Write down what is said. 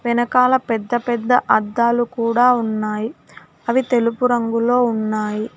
వెనకాల పెద్ద పెద్ద అద్దాలు కూడా ఉన్నాయ్ అవి తెలుపు రంగులో ఉన్నాయి.